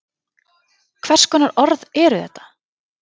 Hvers konar orð eru þetta?